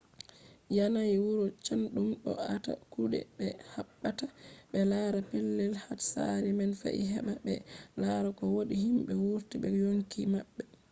yanayi wuro chaɗɗum ɗo aata kuɗe ɓe habdata ɓe lara pellel hatsari man fe’i heɓa ɓe lara ko wodi himɓe wurti be yonki maɓɓe